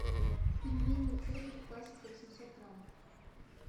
пельмени цезарь классика восемьсот граммов